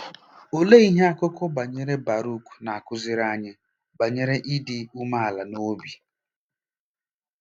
Olee ihe akụkọ banyere Barụk na-akụziri anyị banyere ịdị umeala n'obi?